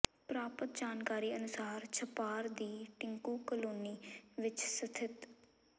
ਪ੍ਰਰਾਪਤ ਜਾਣਕਾਰੀ ਅਨੁਸਾਰ ਛਪਾਰ ਦੀ ਟਿੰਕੂ ਕਾਲੋਨੀ ਵਿਚ ਸਥਿਤ